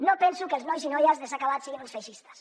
no penso que els nois i noies de s’ha acabat siguin uns feixistes